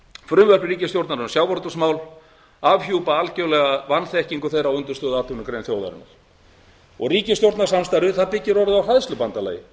frumvörp ríkisstjórnarinnar um sjávarútvegsmál afhjúpa algerlega vanþekkingu þeirra á undirstöðuatvinnugrein þjóðarinnar ríkisstjórnarsamstarfið byggist orðið á hræðslubandalagi